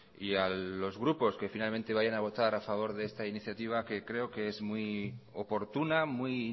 y a los grupos que finalmente vayan a votar a favor de esta iniciativa que creo que es muy oportuna muy